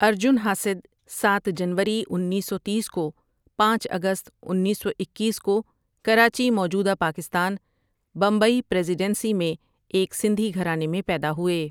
ارجن حاسد ساتھ جنوری انیس سو تیس کو پانچ اگست انیس سو اکیس کو کراچی موجودہ پاکستان ، بمبئی پریزیڈنسی میں ایک سندھی گھرانے میں پیدا ہوئے ۔